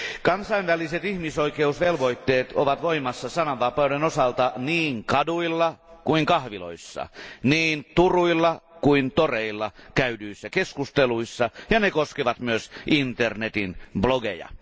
Kansainväliset ihmisoikeusvelvoitteet ovat voimassa sanavapauden osalta niin kaduilla kuin kahviloissa, niin turuilla kuin toreilla käydyissä keskusteluissa, ja ne koskevat myös internetin blogeja.